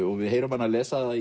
og við heyrum hana lesa það